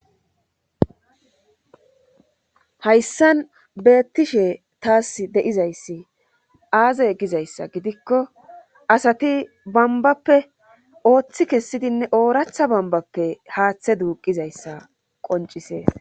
Hayssan beettishe taas de7izayssi aazay gizayssa gidikko asati bambappe ooththi kessidinne ooracha bambappe haaththe duuqizayssa qoncisees.